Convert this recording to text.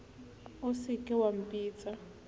o se ke wa mpitsa